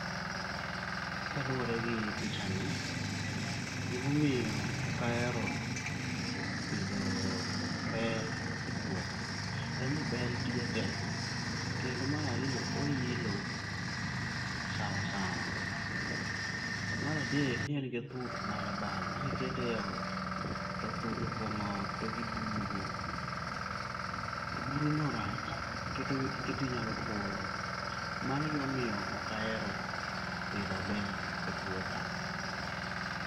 Kaluwore gi picha ni, gimomiyo ok ahero pidho bel e puotha. En ni bell tije tek, kendo mar ariyo oilo ma sawa sawa. Mar adek, ni en gi thuth ma dabal ma kikete eoi to thuth opong'o ot to gin gi buru. To buruno rach keti inyalo fuolo. Mano e gima omiyo ok ahero pidho bell e puotha.